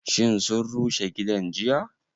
Shin sun rushe gidan jiya?